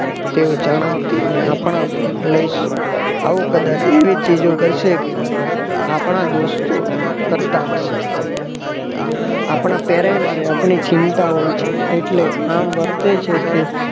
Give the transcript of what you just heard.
તેઓ જણાવતી અને આપડા પણ લઈશ આવું કદાચ એવી ચીજો કરશે કે આપણા દોસ્તો કરતા હશે. આપણા parents આપણી ચિંતા હોય છે એટલે આમ વર્તે છે કે